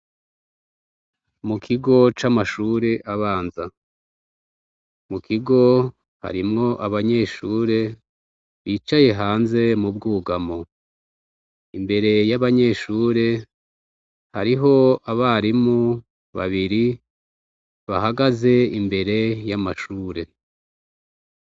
Mu kigo c'amashure abanza mu kigo harimwo abanyeshure bicaye hanze mu bwugamo imbere y'abanyeshure hariho abarimu babiri bahagaze imbere y'amashure ure.